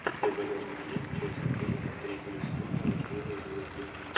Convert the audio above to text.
у тебя в загашнике есть часть три третьего сезона рожденная звездой